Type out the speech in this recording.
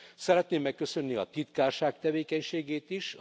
Szeretném megköszönni a titkárság tevékenységét is!